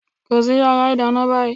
Kọrí sí yàrá ìdáná báyìí!